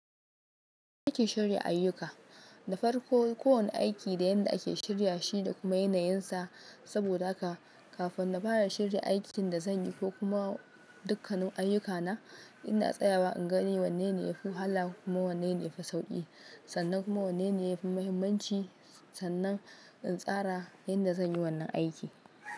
Yadda nake shirya ayyuka, da farko kowane aiki da yadda ake shirya shi da kuma yanayinsa. Saboda haka kafin na fara shirya aikin da zan yi ko kuma dukkanin ayyukana, ina tsayawa in gane wanne ne yafi wahala kuma wanne ne yafi sauƙi. Sannan kuma wanne ne yafi muhimmanci. Sannan in tsara yadda zan yi wannan aiki.